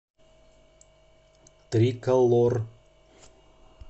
триколор